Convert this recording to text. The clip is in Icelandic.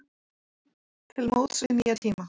Til móts við nýja tíma